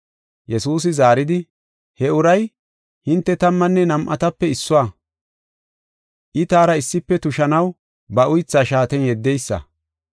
Yesuusi zaaridi, “He uray, hinte tammanne nam7atape issuwa; I taara issife tushanaw ba uytha shaaten yeddeysa.